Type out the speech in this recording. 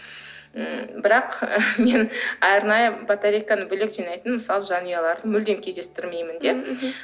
м бірақ мен арнайы батарейканы бөлек жинайтын мысалы жанұяларды мүлдем кездестірмеймін де м мхм